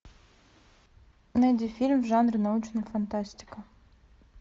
найди фильм в жанре научная фантастика